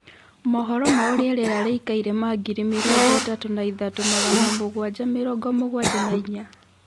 mohoro ma ūria rīera rīikaire ma ngiri mīrongo ītatū na ithatu magana mūguanja mīrongo mūgwanja na inya